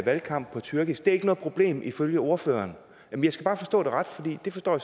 valgkamp på tyrkisk er det ikke noget problem ifølge ordføreren jeg skal bare forstå det ret for det forstår